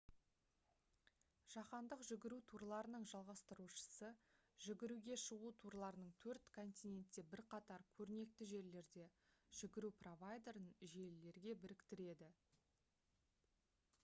жаһандық жүгіру турларының жалғастырушысы жүгіруге шығу турларының төрт континентте бірқатар көрнекті жерлерде жүгіру провайдерін желілерге біріктіреді